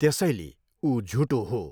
त्यसैले ऊ झुटो हो।